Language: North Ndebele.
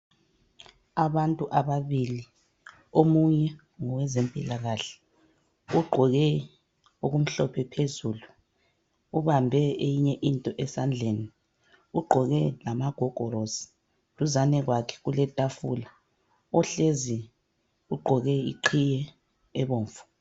Abantu ababili omunye ngowezempilakahle ugqoke okumhlophe phezulu . Ubambe eyinye into esandleni. Ugqoke lamagogorosi .Duzane kwakhe kule tafula .Ohleziyo ugqoke iqhiye ebomvu.